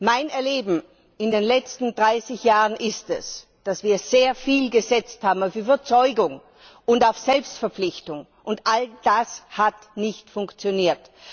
Mein Erleben in den letzten 30 Jahren ist es, dass wir sehr viel auf Überzeugung und auf Selbstverpflichtung gesetzt haben. Und all das hat nicht funktioniert!